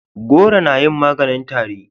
goro na yin maganin tari